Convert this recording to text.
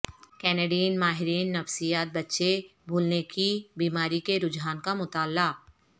Canadian ماہرین نفسیات بچے بھولنے کی بیماری کے رجحان کا مطالعہ